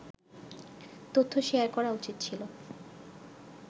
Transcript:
তথ্য শেয়ার করা উচিত ছিল